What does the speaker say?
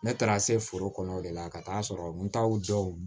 Ne taara se foro kɔnɔ o de la ka taa sɔrɔ n t'aw jɔ